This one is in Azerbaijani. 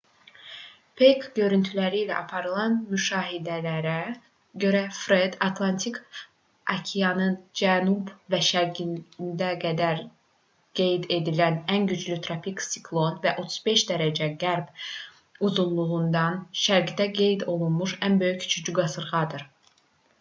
peyk görüntüləri ilə aparılan müşahidələrə görə fred atlantik okeanının cənub və şərqində indiyə qədər qeyd edilən ən güclü tropik siklon və 35° qərb uzunluğundan şərqdə qeyd olunmuş ən böyük üçüncü qasırğadır